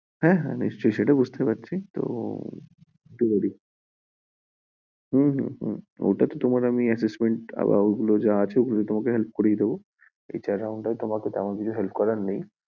হ্যাঁ হ্যাঁ! নিশ্চই সে তো বুজতে পারছি তো ঠিক আছে, ওগুলো যা আছে তোমার হেল্প করিয়ে দেব ।